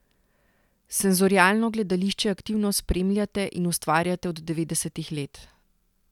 Senzorialno gledališče aktivno spremljate in ustvarjate od devetdesetih let.